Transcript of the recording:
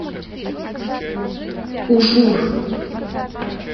ужур